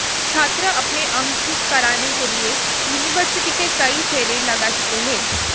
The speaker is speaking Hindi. छात्र अपने अंक ठीक कराने के लिए युनिवर्सिटी के कई फेरे लगा चुका है